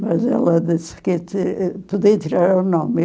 Mas ela disse que podia tirar o nome.